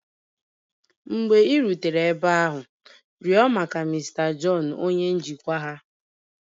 Mgbe ị rutere ebe ahụ, rịọ maka Mr John onye njikwa ha.